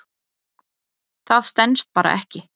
Það stenst bara ekki.